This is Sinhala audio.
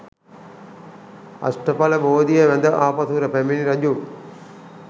අෂ්ඨඵල බෝධිය වැද ආපසු පැමිණි රජු